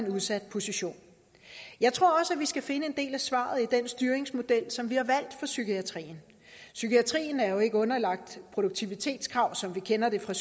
udsat position jeg tror også vi skal finde en del af svaret i den styringsmodel som vi har valgt psykiatrien psykiatrien er jo ikke underlagt produktivitetskrav som vi kender det fra